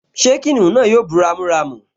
Ṣé kìnìún náà yóò bú ramúramù?